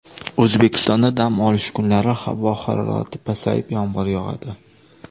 O‘zbekistonda dam olish kunlari havo harorati pasayib, yomg‘ir yog‘adi.